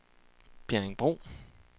Bjerringbro